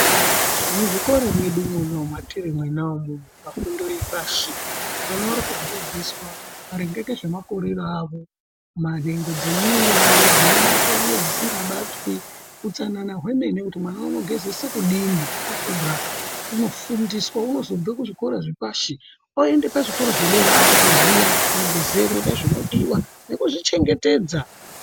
Muzvikora mwedu mwatiri mwona umwo pafundo yepashi vana varikufundiswa maringe ngezvemakorero avo, nhengo dzemuviri dzinobatwa ngedzisingabatwi. Utsanana hwemene kuti mwana unogezese kudini akura unofundiswa. Unotozobve kuzvikora zvepashi eiende kuzvikora zvepadera aakutoziya magezero nezvinodiwa nekuzvichengetedza.